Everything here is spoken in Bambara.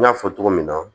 N y'a fɔ cogo min na